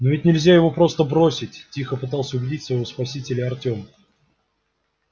но ведь нельзя его просто бросить тихо пытался убедить своего спасителя артём